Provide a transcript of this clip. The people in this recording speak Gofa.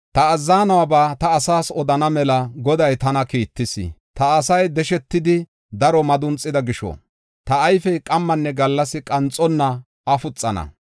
Ta azzanuwaba ta asaas odana mela Goday tana kiittis. “Ta asay deshetidi, daro madunxida gisho, ta ayfey qammanne gallas qanxonna afuxana.